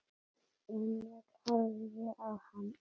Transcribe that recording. Emil horfði á hann.